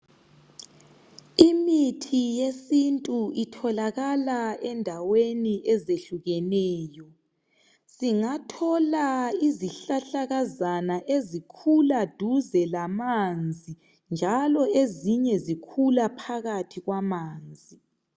Imithi yesintu itholakala endaweni ezehlukeneyo singathola izihlahlakazana ezikhula duze lamanzi njalo ezinye zikhula phakathi kwamanzi